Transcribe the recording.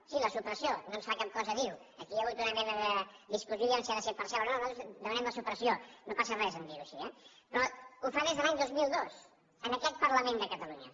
sí la supressió no ens fa cap cosa dir ho aquí hi ha hagut una mena de discussió a veure si ha de ser parcial o no nosaltres demanem la supressió no passa res de dir ho així eh però ho fa des de l’any dos mil dos en aquest parlament de catalunya